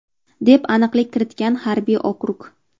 deb aniqlik kiritgan harbiy okrug.